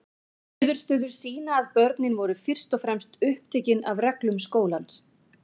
Niðurstöður sýna að börnin voru fyrst og fremst upptekin af reglum skólans.